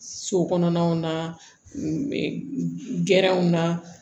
So kɔnɔnaw na gɛrɛnw na